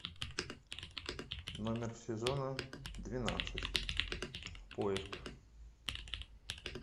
номер сезона двенадцать поиск